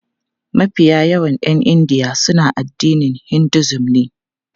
Mafi yawan 'yan India suna addinin Hinduism ne.